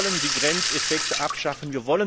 Wir wollen die Grenzeffekte abschaffen.